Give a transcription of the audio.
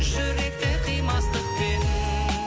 жүректе қимастықпен